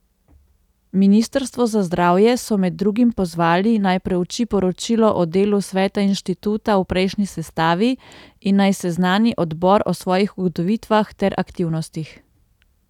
Ministrstvo za zdravje so med drugim pozvali, naj preuči poročilo o delu sveta inštituta v prejšnji sestavi in naj seznani odbor o svojih ugotovitvah ter aktivnostih.